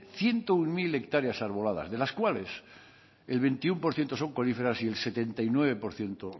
ciento uno mil hectáreas arboladas de las cuales el veintiuno por ciento con coníferas y el setenta y nueve por ciento